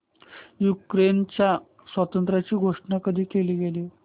युक्रेनच्या स्वातंत्र्याची घोषणा कधी केली गेली